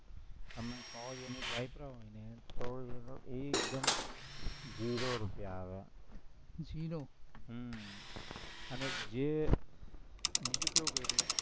હમણાં સો યુનિટ વાપરો હોય ને તો ઈ એકદમ ઝીરો રૂપિયા આવે ઝીરો હમ અને જે બીજું કેવું કરું